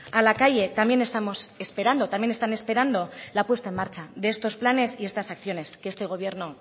a la calle también estamos esperando también están esperando la puesta en marcha de estos planes y estas acciones que este gobierno